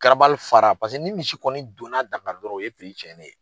fara ni misi kɔni donna Dakari dɔrɔn o ye cɛnen ye.